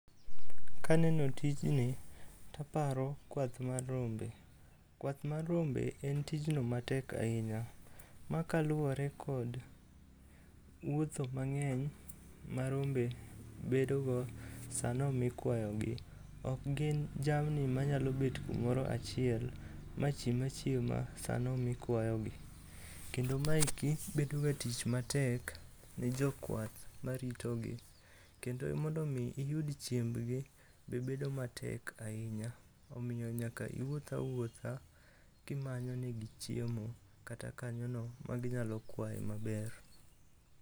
Kaneno tijni taparo kwath mar rombe. Kwath mar rombe en tijno matek ahinya ma kaluwore kod wotho mang'eny ma rombe bedogo sano mikwayogi. Ok gin jamni manyalo bet kumoro achiel machiem achiema sano mikwayogi. Kendo maeki bedoga tich matek ne jokwath maritogi, kendo mondo omi iyud chiembgi be bedo matek ahinya. Omiyo iwuoth awuotha kimanyonegi chiemo kata kanyono maginyalo kwaye maber.